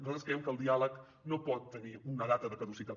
nosaltres creiem que el diàleg no pot tenir una data de caducitat